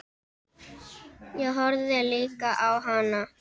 Ég horfði líka á hana.